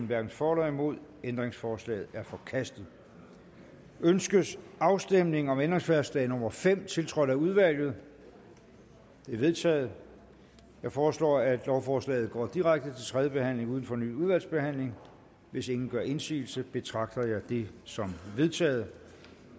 hverken for eller imod stemte ændringsforslaget er forkastet ønskes afstemning om ændringsforslag nummer fem tiltrådt af udvalget det er vedtaget jeg foreslår at lovforslaget går direkte til tredje behandling uden fornyet udvalgsbehandling hvis ingen gør indsigelse betragter jeg det som vedtaget